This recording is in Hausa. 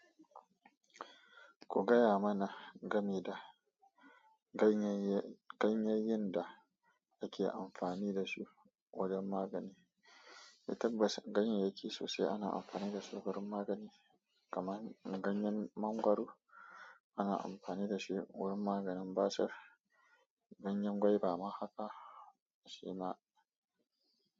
Ku gaya mana game da ganyayye, ganyayyen da ake amfani da su wajen magani. Litafas, ganyayyaki sosai ana amfani da su wurin magani. Kaman, ganyen mangwaro ana amfani da shi wurin maganin basir. Ganyen gwaiba ma haka, shi ma.